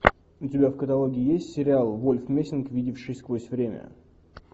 у тебя в каталоге есть сериал вольф мессинг видевший сквозь время